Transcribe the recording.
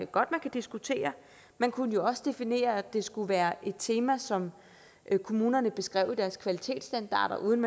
godt man kan diskutere man kunne jo også definere at det skulle være et tema som kommunerne beskrev i deres kvalitetsstandarder uden